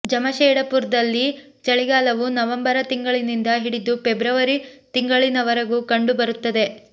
ಜಮಷೇಡಪುರ್ದಲ್ಲಿ ಚಳಿಗಾಲವು ನವಂಬರ ತಿಂಗಳಿನಿಂದ ಹಿಡಿದು ಫೆಬ್ರುವರಿ ತಿಂಗಳಿನವರೆಗೂ ಕಂಡು ಬರುತ್ತದೆ